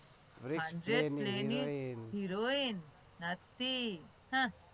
hundreds play heroin નથી.